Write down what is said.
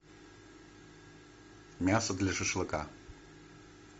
мясо для шашлыка